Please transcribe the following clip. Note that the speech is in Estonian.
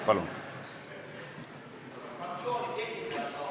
Palun!